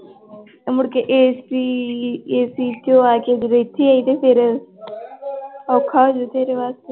ਮੁੜਕੇ ACAC ਚੋਂ ਆ ਕੇ ਜਦੋਂ ਇੱਥੇ ਆਈ ਤੇ ਫਿਰ ਔਖਾ ਹੋ ਜਾਊ ਤੇਰੇ ਵਾਸਤੇ।